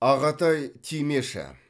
ағатай тимеші